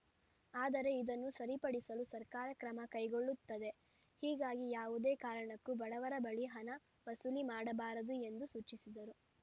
ಆದರೆ ಇದನ್ನು ಸರಿಪಡಿಸಲು ಸರ್ಕಾರ ಕ್ರಮ ಕೈಗೊಳ್ಳುತ್ತದೆ ಹೀಗಾಗಿ ಯಾವುದೇ ಕಾರಣಕ್ಕೂ ಬಡವರ ಬಳಿ ಹಣ ವಸೂಲಿ ಮಾಡಬಾರದು ಎಂದು ಸೂಚಿಸಿದರು